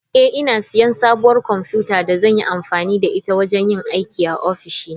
Eh, ina siyan sabuwar kwamfuta da zan yi amfani da ita wajen yin aiki a ofishina.